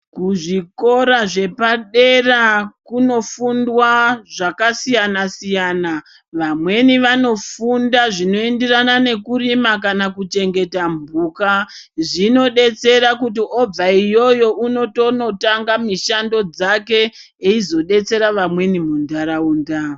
Kuzvikora zvepadera kunofundwa zvakasiyana siyana vamweni vanofunda zvinoenderana nekurima kana kuchengeta mhuka zvinodetsera kuti obva iyoyo unotoona tanga mishando dzake eizodetsera vamweni muntaraunda.